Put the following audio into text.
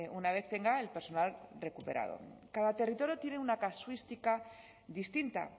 una vez tenga el personal recuperado cada territorio tiene una casuística distinta